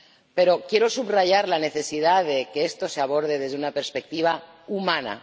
Pero quiero subrayar la necesidad de que esto se aborde desde una perspectiva humana.